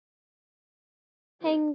Þú sópaðir pening.